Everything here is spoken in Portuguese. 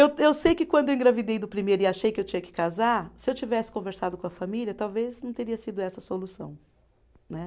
Eu eu sei que quando eu engravidei do primeiro e achei que eu tinha que casar, se eu tivesse conversado com a família, talvez não teria sido essa a solução. Né